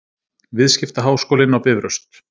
Viðskiptaháskólinn á Bifröst.